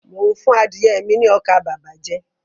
Mo n fún adìye mi ní ọkà bàbà jẹ